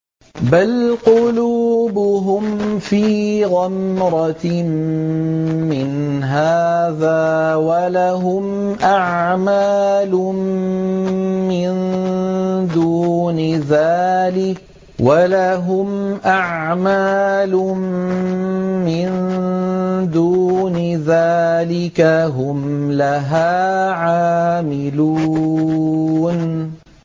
بَلْ قُلُوبُهُمْ فِي غَمْرَةٍ مِّنْ هَٰذَا وَلَهُمْ أَعْمَالٌ مِّن دُونِ ذَٰلِكَ هُمْ لَهَا عَامِلُونَ